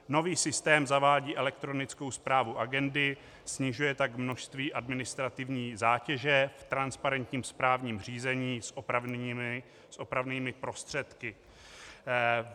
Nový systém zavádí elektronickou správu agendy, snižuje tak množství administrativní zátěže v transparentním správním řízení s opravnými prostředky.